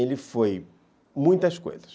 Ele foi muitas coisas.